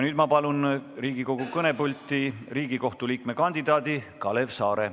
Nüüd ma palun Riigikogu kõnepulti Riigikohtu liikme kandidaadi Kalev Saare.